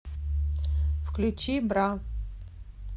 включи бра